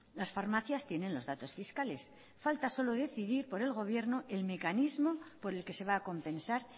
las farmacias tienen los datos fiscales falta solo decidir por el gobierno el mecanismo por el que se va a compensar